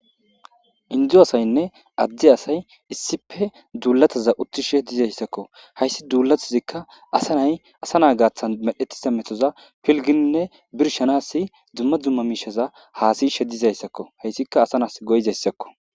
Indzu asaynne adde asay issipe duulataza uttishe dizayssakko hayssi duulatazikka asa nay asa naa gaaththan medhetisa metoza pilgininne birshanasi dumma dumma miishaza haasishe dizayssakko hayssikka asa nas goyzayssakko